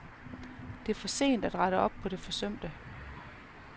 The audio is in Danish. Det er for sent at rette op på det forsømte.